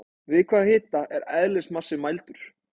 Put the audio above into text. Við hvaða hita er eðlismassi mældur?